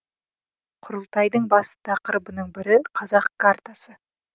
құрылтайдың басты тақырыбының бірі қазақ картасы